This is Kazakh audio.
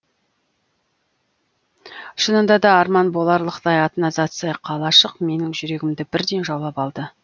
шынында да арман боларлықтай атына заты сай қалашық менің жүрегімді бірден жаулап алды